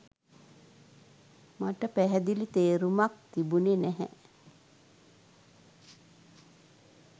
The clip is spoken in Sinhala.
මට පැහැදිලි තේරුමක් තිබුණෙ නැහැ.